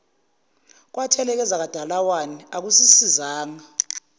kwatheleka ezakwadalawane akusisizanga